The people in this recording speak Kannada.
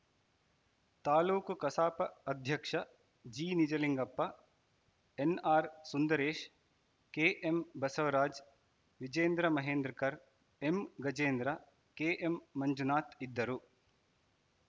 ತಾಲೂಕು ಕಸಾಪ ಅಧ್ಯಕ್ಷ ಜಿನಿಜಲಿಂಗಪ್ಪ ಎನ್‌ಆರ್‌ಸುಂದರೇಶ್‌ ಕೆಎಂಬಸವರಾಜ್‌ ವಿಜೇಂದ್ರ ಮಹೇಂದ್ರಕರ್‌ ಎಂಗಜೇಂದ್ರ ಕೆಎಂಮಂಜುನಾಥ ಇದ್ದರು